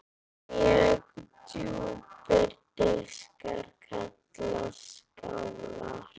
Mjög djúpir diskar kallast skálar.